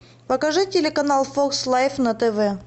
покажи телеканал фокс лайф на тв